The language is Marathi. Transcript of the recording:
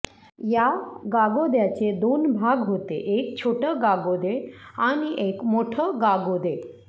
या गागोद्याचे दोन भाग होते एक छोटं गागोदे आणि एक मोठं गागोदे